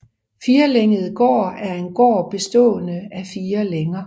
Firlænget gård er en gård bestående af fire længer